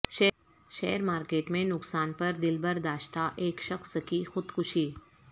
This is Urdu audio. شیر مارکٹ میں نقصان پر دلبرداشتہ ایک شخص کی خودکشی